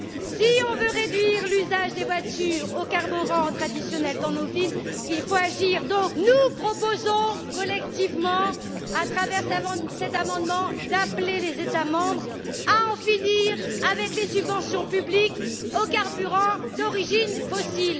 Si l'on veut réduire l'usage des voitures au carburant traditionnel dans nos villes, il faut agir. Nous proposons donc collectivement, à travers cet amendement, d'appeler les États membres à en finir avec les subventions publiques aux carburants d'origine fossile.